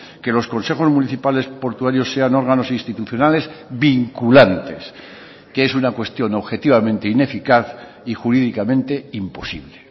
que los consejos municipales portuarios sean órganos institucionales vinculantes que es una cuestión objetivamente ineficaz y jurídicamente imposible